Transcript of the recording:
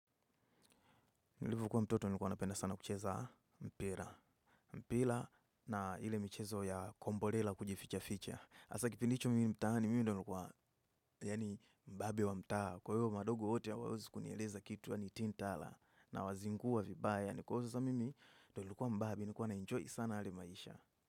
Nilivyokuwa mtoto nilikuwa napenda sana kucheza mpira. Mpira na ile michezo ya komborela kujifichaficha. Hasa kipindi hicho mimi mtaani mimi ndio nilikuwa yaani mbabe wa mtaa. Kwa hiyo madogo wote hawawezi kunieleza kitu yaani tin tala. Nawazingua vibaya. Ni kwa hiyo sasa mimi ndo nilikuwa mbaya mi nilikuwa naenjoy sana yale maisha.